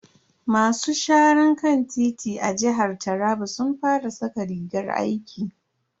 Masu sharan kan titi a jihar taraba sun fara saka rigar aiki.